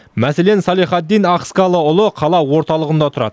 мәселен салехаддин ахыскалыұлы қала орталығында тұрады